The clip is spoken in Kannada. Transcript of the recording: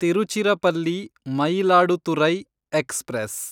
ತಿರುಚಿರಪಲ್ಲಿ ಮಯಿಲಾಡುತುರೈ ಎಕ್ಸ್‌ಪ್ರೆಸ್